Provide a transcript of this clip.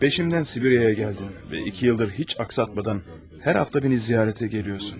Peşimdən Sibiriyə gəldin və iki ildir heç axsatmadan hər həftə məni ziyarətə gəlirsən.